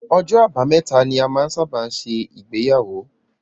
Ọjọ àbámẹ́ta ni a máa n sábà ṣe ìgbéyàwó.